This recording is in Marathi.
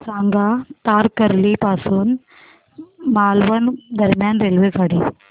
सांगा तारकर्ली पासून मालवण दरम्यान रेल्वेगाडी